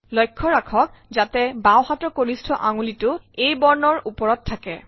লক্ষ্য ৰাখত যাতে বাওঁহাতৰ কনিষ্ঠ আঙুলিটো A বৰ্ণৰ ওপৰত থাকে